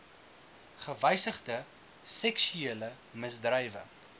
gewysigde seksuele misdrywe